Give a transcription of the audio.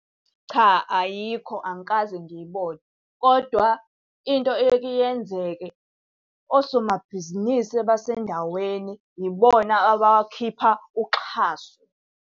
Cha, ayikho angikaze ngiyibone. Kodwa into eyeke yenzeke osomabhizinisi abasendaweni yibona abakhipha uxhaso.